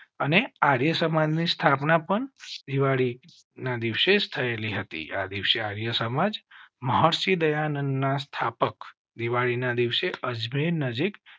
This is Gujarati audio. અને આર્યસમાજ ની સ્થાપના પણ દિવાળી ના દિવસે થયેલી હતી. આ દિવસે આર્ય સમાજ મહર્ષિ દયાનંદના સ્થાપક દિવાળી ના સ્થાપના દિવસે અજમેર નજીક